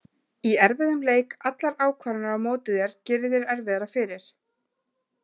Í erfiðum leik, allar ákvarðanir á móti þér gerir þér erfiðara fyrir.